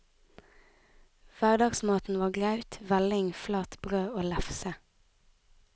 Hverdagsmaten var graut, velling, flatbrød og lefse.